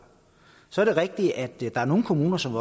så er det rigtigt at der er nogle kommuner som